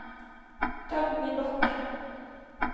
Dagny Bakken